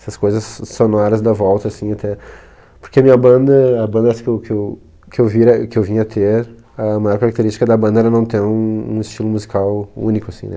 Essas coisas sonoras da volta, assim, até... Porque a minha banda, a bandas que eu que eu que eu vir éh que eu vim a ter, a maior característica da banda era não ter um um estilo musical único, assim, né?